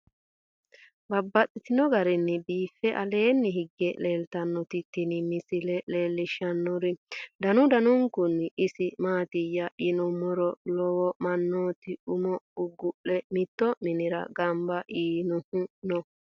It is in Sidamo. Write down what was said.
Babaxxittinno garinni biiffe aleenni hige leelittannotti tinni misile lelishshanori danu danunkunni isi maattiya yinummoro lowo manootti umo gugu'le mitto minne ganbba yiinnohu noo